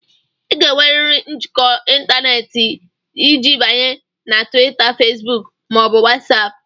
Ị ga-enwerịrị njikọ ịntanetị iji banye na Twita, Fesbuk ma ọ bụ Watsapu